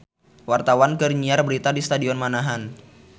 Wartawan keur nyiar berita di Stadion Manahan